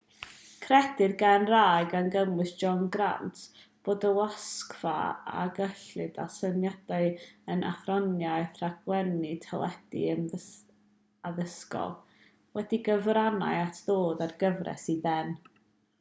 credir gan rai gan gynnwys john grant bod y wasgfa ar gyllid a symudiad yn athroniaeth rhaglennu teledu addysgol wedi cyfrannu at ddod â'r gyfres i ben